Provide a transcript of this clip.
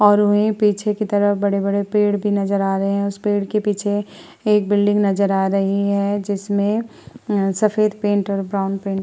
और वहीँ पीछे की तरफ बड़े-बड़े पेड़ भी नजर आ रहे हैं और उस पेड़ की पीछे एक बिल्डिंग नजर आ रही है। जिसमे अ सफेद पेंट और ब्राउन पेंट --